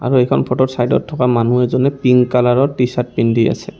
এইখন ফটোত চাইডত থকা মানুহ এজনে পিংক কালাৰৰ টি চাৰ্ট পিন্ধি আছে।